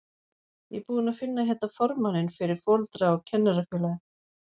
Ég er búinn að finna hérna formanninn fyrir Foreldra- og kennarafélagið!